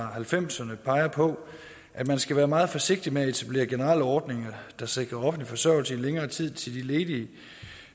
halvfemserne peger på at man skal være meget forsigtig med at etablere generelle ordninger der sikrer offentlig forsørgelse i længere tid til de ledige